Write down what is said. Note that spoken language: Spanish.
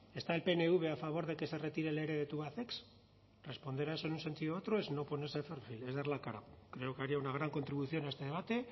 está el pnv a favor de que se retire el ere de tubacex responder a eso en un sentido u otro es no ponerse de perfil es dar la cara creo que haría una gran contribución a este debate